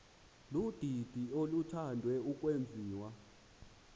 ludidi oluthande ukwenziwa